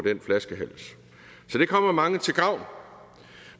den flaskehals så det kommer mange til gavn